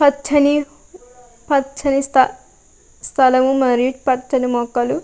పచ్చని పచ్చని స్థలం మరియు పచ్చని మొక్కులు.